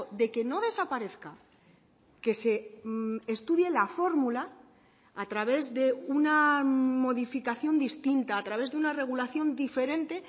de que no desaparezca que se estudie la fórmula a través de una modificación distinta a través de una regulación diferente